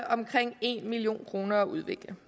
omkring en million kroner at udvikle